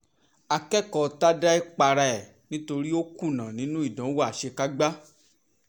akẹ́kọ̀ọ́ tadae para ẹ̀ nítorí ó kùnà nínú ìdánwò àṣekágbá